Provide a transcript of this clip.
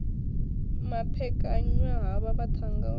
maphekanywa havha vhaṱhannga u ri